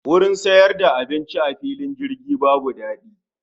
Wurin siyar da abinci a fillin jirgi babu dadi